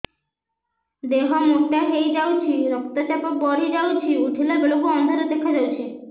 ଦେହ ମୋଟା ହେଇଯାଉଛି ରକ୍ତ ଚାପ ବଢ଼ି ଯାଉଛି ଉଠିଲା ବେଳକୁ ଅନ୍ଧାର ଦେଖା ଯାଉଛି